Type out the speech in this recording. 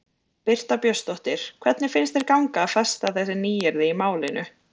Birta Björnsdóttir: Hvernig finnst þér ganga að festa þessi nýyrði í málinu?